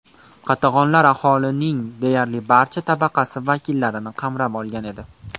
Qatag‘onlar aholining deyarli barcha tabaqasi vakillarini qamrab olgan edi.